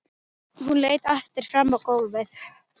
Hún leit aftur fram á gólfið.